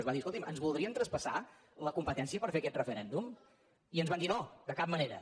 es va dir escolti’m ens voldrien traspassar la competència per fer aquest referèndum i ens van dir no de cap manera